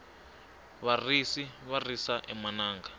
varisi va risa emananga